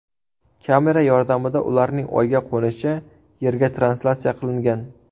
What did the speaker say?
Kamera yordamida ularning oyga qo‘nishi Yerga translyatsiya qilingan.